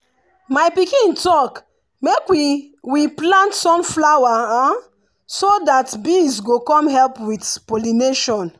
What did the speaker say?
my pikin talk make we we plant sunflower so that bees go come help with pollination.